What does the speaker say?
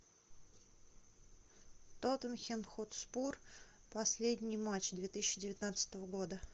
тоттенхэм хотспур последний матч две тысячи девятнадцатого года